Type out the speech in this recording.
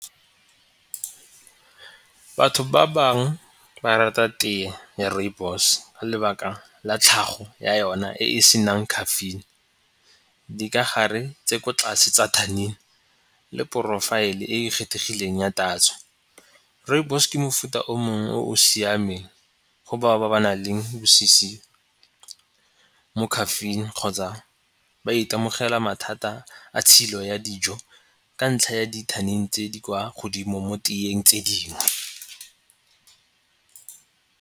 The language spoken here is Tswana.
Batho ba bangwe ba rata tee ya rooibos, ka lebaka la tlhago ya yona e e senang caffeine, dikagare tse ko tlase tsa le porofaele e e kgethegileng ya tatso. Rooibos ke mofuta o mongwe o o siameng go bao ba ba na leng bosisi mo caffeine kgotsa ba itemogela mathata a tshilo ya dijo ka ntlha ya di tse di kwa godimo mo teeng tse dingwe.